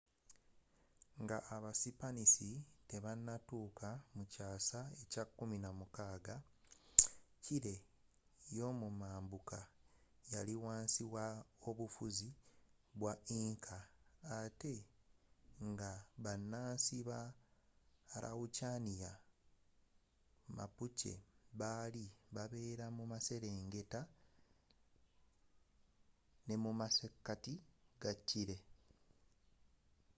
nga aba sipanisi tebanatuuka mu kyaasa ekye 16 chile yomumambuuka yali wansi wo bufuzi bwa inca ate nga banansi ba araucaniya mapuche baali babeera mu masekati ne mu mamaserengeta ga chile